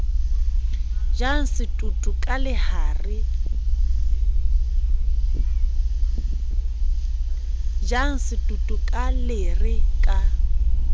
jang setoto ka lere ka